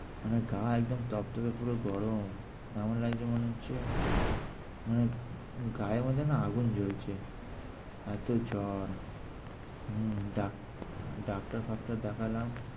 মানে গা একদম টকটকে পুরো গরম। এমন লাগছে মনে হচ্ছে মানে গায়ের মধ্যে না আগুন জ্বলছে এত জ্বর। হম ডাক~ ডাক্তার ফাক্তার দেখালাম।